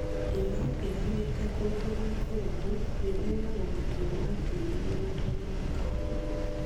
Rĩma ũkĩgamĩte kũndũ gũikũrũku gwĩthema gũthukio gwa tĩri mũgũndainĩ wa kahũa